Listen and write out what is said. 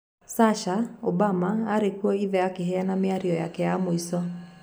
Sasha Obama arĩ kũũ Ithe akĩheana Mĩario yake ya Muico.